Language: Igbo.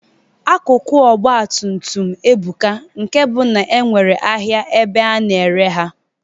Akụkụ Ọgbatumtum ebuka nke bụ na enwere ahịa ebe a na-ere ha.